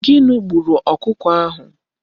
Gini gburu okuko ahu?